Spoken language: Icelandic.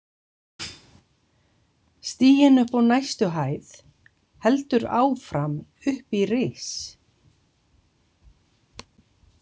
Stiginn upp á næstu hæð heldur áfram upp í ris.